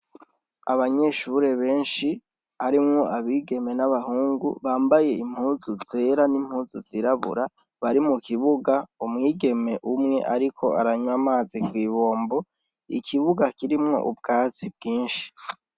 Abanyeshuri beshi harimwo abigeme n'abahungu bambaye impuzu zera n'impuzu zirabura bari mu kibuga umwigeme umwe ariko aranwa amazi kw'ibombo, Ikibuga kirimwo ubwatsi bwishi.